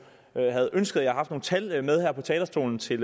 have ønsket at jeg havde haft nogle tal med her på talerstolen til